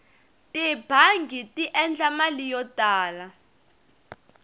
tibangi ti endla mali yo tala